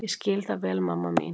Ég skil það vel mamma mín.